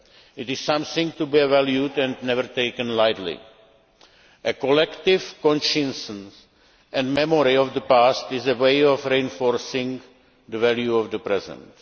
It is something to be valued and never taken lightly. A collective conscience and memory of the past is a way of reinforcing the value of the present.